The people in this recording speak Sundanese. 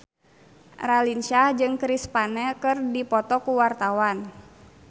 Raline Shah jeung Chris Pane keur dipoto ku wartawan